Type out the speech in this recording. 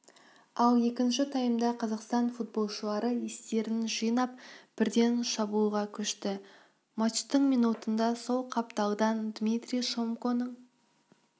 ал екінші таймда қазақстан футболшылары естерін жинап бірден шабуылға көшті матчтың минутында сол қапталдан дмитрий шомконың